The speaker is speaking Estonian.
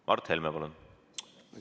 Mart Helme, palun!